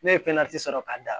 Ne ye sɔrɔ ka da